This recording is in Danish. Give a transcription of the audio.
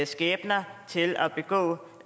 skæbner til at begå